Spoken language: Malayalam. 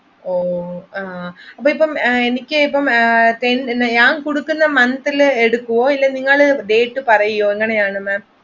എനിക്ക് ഇപ്പൊ ഞാൻ കൊടുക്കുന്ന monthൽ എടുക്കുവോ അതോ നിങ്ങൾ date പറയുവോ എങ്ങനെയാണ് maam?